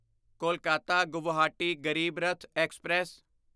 Kolkata Guwahati Garib Rath express